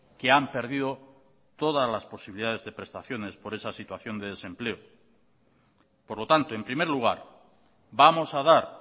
que han perdido todas las posibilidades de prestaciones por esa situación de desempleo por lo tanto en primer lugar vamos a dar